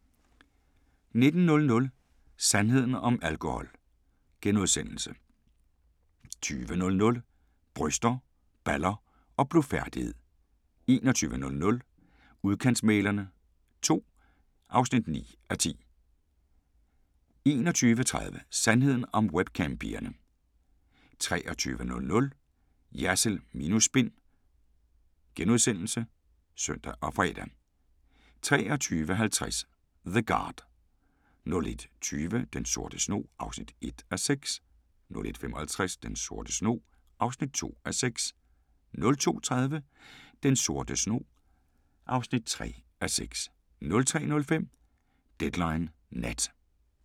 19:00: Sandheden om alkohol * 20:00: Bryster, baller og blufærdighed 21:00: Udkantsmæglerne II (9:10) 21:30: Sandheden om webcam-pigerne 23:00: Jersild minus spin *(søn og fre) 23:50: The Guard 01:20: Den sorte snog (1:6) 01:55: Den sorte snog (2:6) 02:30: Den sorte snog (3:6) 03:05: Deadline Nat